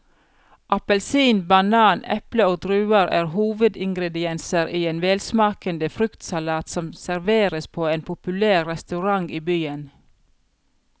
Appelsin, banan, eple og druer er hovedingredienser i en velsmakende fruktsalat som serveres på en populær restaurant i byen.